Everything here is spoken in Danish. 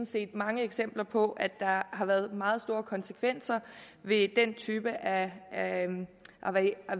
set mange eksempler på at der har været meget store konsekvenser ved den type af